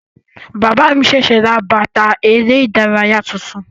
Bàbá mi sẹsẹ rà bàtà ère ìdárayá tuntun.